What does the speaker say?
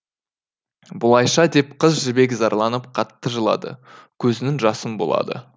бұлайша деп қыз жібек зарланып қатты жылады көзінің жасын бұлады